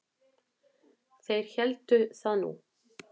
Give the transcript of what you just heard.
Þeir héldu það nú.